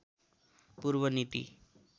पूर्व नीति